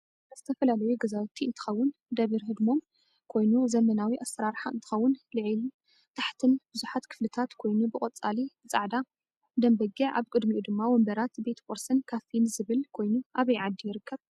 እዚ ዝተፈላለዩ ገዛውቲ እንትከውን ደብር ሕድሞን ኮይኑ8 ዘመናዊ ኣሰራራሕ እንትከውን ልዒልን ታሓትን ብዙሕ ክፍሊታት ኮይኑ ብቆፃሊ፣ ብፃዕዳ ደም በግዕ ኣብ ቅድምኡ ድማ ወንበራት ቤት ቁርስን ካፊን ዝብል ኮይኑ ኣበይ ዓዲ ይርከብ?